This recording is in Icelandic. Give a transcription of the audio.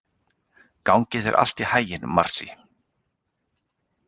Gangi þér allt í haginn, Marsý.